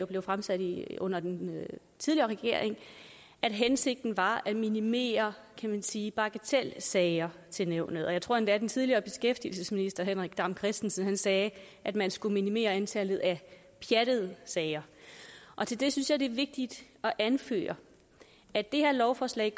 blev fremsat under den tidligere regering at hensigten var at minimere kan man sige bagatelsager i nævnet og jeg tror endda at den tidligere beskæftigelsesminister henrik dam kristensen sagde at man skulle minimere antallet af pjattede sager og til det synes jeg det er vigtigt at anføre at det her lovforslag